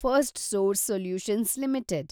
Firstsource solutions limited